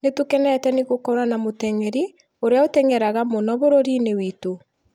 Nĩ tũkenete nĩ gũkorwo na mũteng'eri ũrĩa ũtengeraga mũno bũrũri-inĩ witũ